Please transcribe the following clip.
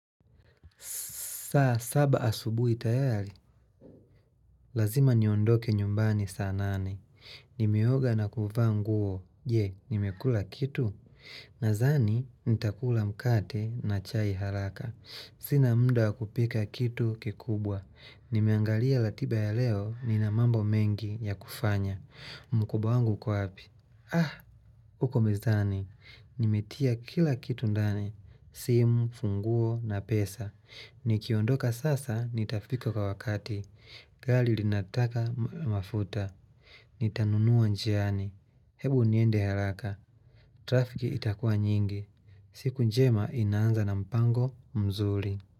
Saa saba asubuhi tayari, lazima niondoke nyumbani saa nane. Nimeoga na kuvaa nguo, je, nimekula kitu? Nadhani, nitakula mkate na chai haraka. Sina muda wa kupika kitu kikubwa. Nimeangalia ratiba ya leo, nina mambo mengi ya kufanya. Mkoba wangu huko wapi. Ah, huko mezani, nimetia kila kitu ndani. Simu, funguo na pesa. Nikiondoka sasa nitafika kwa wakati gari linataka mafuta. Nitanunua njiani Hebu niende haraka Trafiki itakuwa nyingi siku njema inaanza na mpango mzuri.